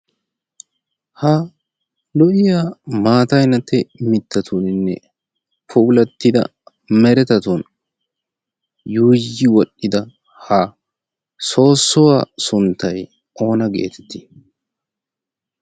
ha lo'iyaa maatainate mittatuuninne poulattida meretatun yuuyi wodhdhida ha soossowaa sunttay oona geetettii?